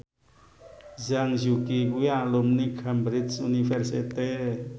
Zhang Yuqi kuwi alumni Cambridge University